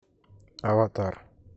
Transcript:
аватар